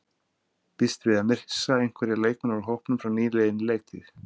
Býstu við að missa einhverja leikmenn úr hópnum frá nýliðinni leiktíð?